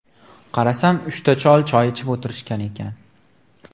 Qarasam, uchta chol choy ichib o‘tirishgan ekan.